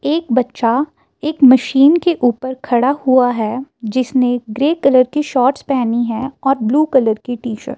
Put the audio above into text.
एक बच्चा एक मशीन के ऊपर खड़ा हुआ है जिसने ग्रे कलर की शॉर्ट्स पेहनी है और ब्लू कलर की टी शर्ट ।